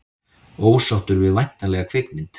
Ósáttur við væntanlega kvikmynd